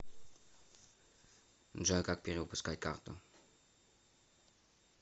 джой как перевыпускать карту